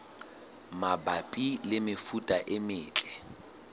mabapi le mefuta e metle